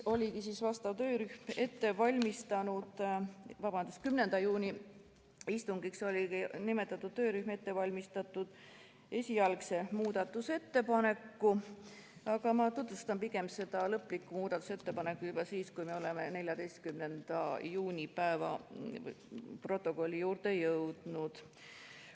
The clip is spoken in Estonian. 10. juuni istungiks oligi nimetatud töörühm ette valmistanud esialgse muudatusettepaneku, aga ma tutvustan lõplikku muudatusettepanekut pigem siis, kui me oleme 14. juuni protokolli juurde jõudnud.